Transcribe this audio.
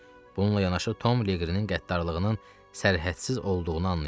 Bununla yanaşı Tom Liqrinin qəddarlığının sərhədsiz olduğunu anlayırdı.